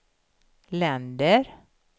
länder